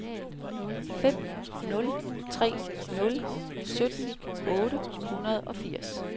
fem nul tre nul sytten otte hundrede og firs